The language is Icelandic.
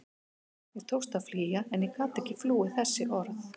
Mér tókst að flýja en ég gat ekki flúið þessi orð.